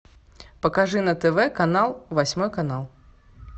покажи на тв канал восьмой канал